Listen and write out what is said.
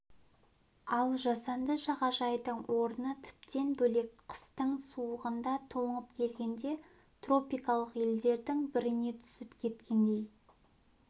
ал жасанды жағажайдың орны тіптен бөлек қыстың суығында тоңып келгенде тропикалық елдердің біріне түсіп кеткендей